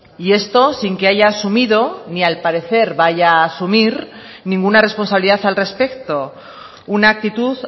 y esto sin que haya asumido ni al parecer vaya a asumir ninguna responsabilidad al respecto una actitud